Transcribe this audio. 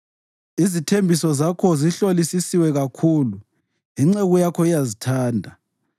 Izithembiso zakho zihlolisisiwe kakhulu, inceku yakho iyazithanda.